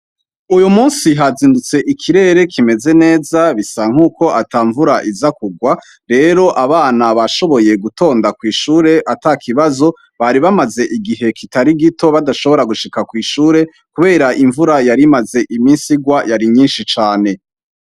Uyu musi hazindutse ikirere kimeze neza bisa nkuko ata mvura iza kugwa rero abana bashoboye gutonda kw'ishure ata kibazo, bari bamaze igihe kitari gito badashobora gushika kw'ishure ,kubera imvura yarimaze iminsi igwa yari nyinshi cane.